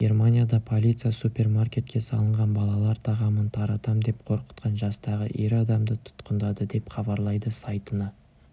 германияда полиция супермаркетке салынған балалар тағамын таратам деп қорқытқан жастағы ер адамды тұтқындады деп хабарлайды сайтына